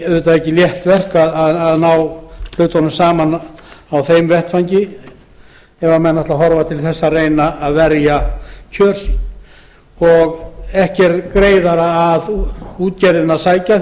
því ekki létt verk að ná samningum á þeim vettvangi ef menn vilja reyna að verja kjör sín ekki er greiðara að útgerðinni að sækja